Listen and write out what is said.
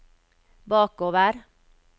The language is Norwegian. bakover